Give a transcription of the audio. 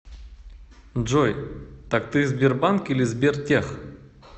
джой так ты сбербанк или сбертех